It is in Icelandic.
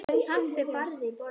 Pabbi barði í borðið.